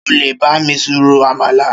Ṣé ọ le bá mí ro àmàlà?